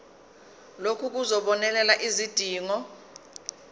lokhu kuzobonelela izidingo